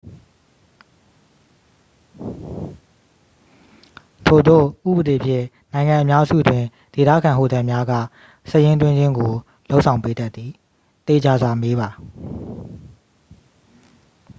ထိုသို့ဥပဒေဖြင့် နိုင်ငံအများစုတွင် ဒေသခံဟိုတယ်များက စာရင်းသွင်းခြင်းကို လုပ်ဆောင်ပေးတတ်သည်သေချာစွာမေးပါ။